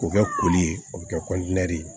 K'o kɛ koli ye o bɛ kɛ ye